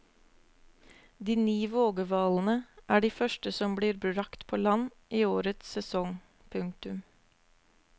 De ni vågehvalene er de første som blir bragt på land i årets sesong. punktum